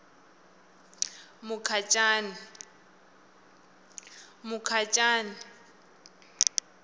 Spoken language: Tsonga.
mukhacani